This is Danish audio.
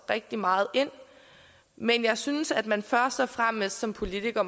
rigtig meget ind men jeg synes at man først fremmest som politiker